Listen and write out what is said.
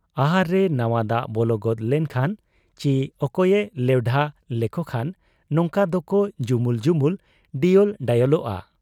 ᱟᱦᱟᱨ ᱨᱮ ᱱᱟᱶᱟ ᱫᱟᱜ ᱵᱚᱞᱚ ᱜᱚᱫ ᱞᱮᱱ ᱠᱷᱟᱱ ᱪᱤ ᱚᱠᱚᱭᱮ ᱞᱮᱣᱰᱷᱟ ᱞᱮᱠᱚ ᱠᱷᱟᱱ ᱱᱚᱝᱠᱟ ᱫᱚᱠᱚ ᱡᱩᱢᱩᱞ ᱡᱩᱢᱩᱞ, ᱰᱤᱭᱚᱞ ᱰᱚᱭᱚᱞᱚᱜ ᱟ ᱾